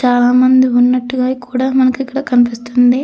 చాలా మంది ఉన్నట్టుగా కూడ మనకి ఇక్కడ కనిపిస్తుంది.